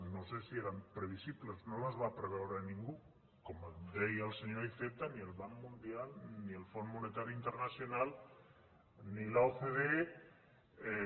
no sé si eren previsibles no les va preveure ningú com deia el senyor iceta ni el banc mundial ni el fòrum monetari internacional ni l’ocde